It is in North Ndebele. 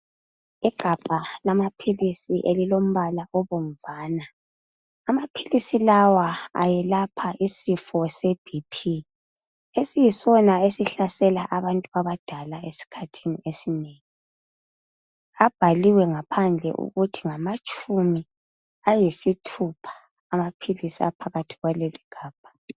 Igabha lamaphilisi elilombala obomvana amaphilisi lawa ayelapha isifo see "BP" esiyisona esihlasela abantu abadala esikhathini esinengi abhaliwe ngaphandle ukuthi ngamatshumi ayisithupha amaphilisi aphakathi kwaleligabha.